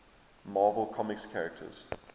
marvel comics characters